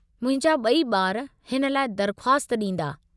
मुंहिंजा ॿई ॿारु हिन लाइ दरख़्वास्त ॾींदा।